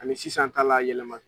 Ani sisan ta la yɛlɛma.